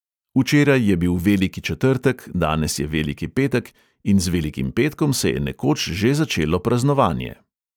Včeraj je bil veliki četrtek, danes je veliki petek in z velikim petkom se je nekoč že začelo praznovanje.